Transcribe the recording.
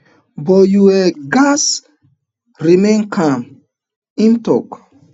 but you um gatz remain calm in tok